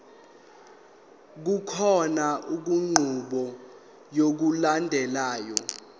kukhona inqubo yokulandelayo